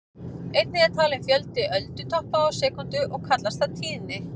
Einnig er talinn fjöldi öldutoppa á sekúndu og kallast það tíðni.